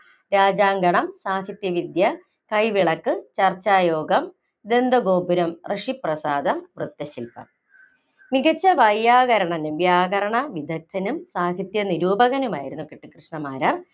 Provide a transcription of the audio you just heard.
രാജാങ്കണം, സാഹിത്യവിദ്യ, കൈവിളക്ക്‌, , ചർച്ചായോഗം, ദന്തഗോപുരം, ഋഷിപ്രസാദം, വൃത്തശിൽപം. മികച്ച വൈയാകരണനും വ്യാകരണ വിദഗ്‌ധനും സാഹിത്യ നിരൂപകനുമായിരുന്നു കുട്ടിക്കൃഷ്ണ മാരാർ